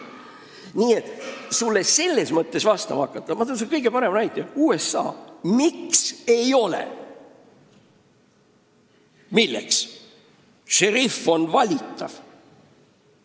Ma toon sulle vastuseks kõige parema näite: USA, kus šerif on valitav.